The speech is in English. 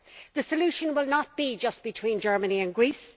The solution will not be just between Germany and Greece